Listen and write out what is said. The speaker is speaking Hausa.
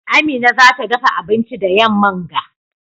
Amina za ta dafa abinci da yamman ga.